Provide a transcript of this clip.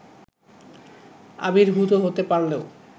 আবির্ভুত হতে পারলেও